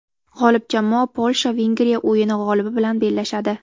G‘olib jamoa Polsha Vengriya o‘yini g‘olibi bilan bellashadi.